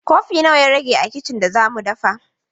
Kofi nawa ya rage a kicin da za mu dafa?